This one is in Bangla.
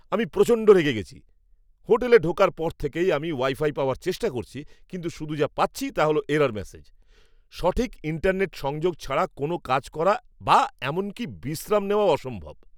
আমি প্রচণ্ড রেগে গেছি! হোটেলে ঢোকার পর থেকেই আমি ওয়াইফাই পাওয়ার চেষ্টা করছি কিন্তু শুধু যা পাচ্ছি তা হল এরর ম্যাসেজ। সঠিক ইন্টারনেট সংযোগ ছাড়া কোনও কাজ করা বা এমনকি বিশ্রাম নেওয়াও অসম্ভব।